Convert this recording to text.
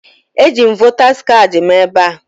Eji m votas kaadị m ebe a